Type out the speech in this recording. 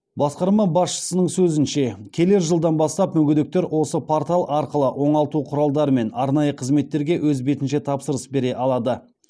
басқарма басшысының сөзінше келер жылдан бастап мүгедектер осы портал арқылы оңалту құралдары мен арнайы қызметтерге өз бетінше тапсырыс бере алады